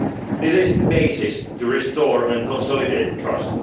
This is the basis for restoring and consolidating